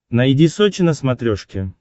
найди сочи на смотрешке